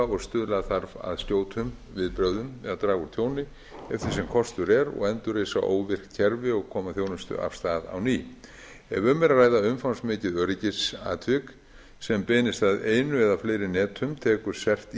og stuðla þarf að skjótum viðbrögðum eða draga úr tjóni eftir því sem kostur er og endurreisa óvirk kerfi og koma þjónustu af stað á ný ef um er að ræða umfangsmikið öryggisatvik sem beinist að einu eða fleiri netum tekur